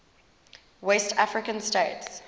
west african states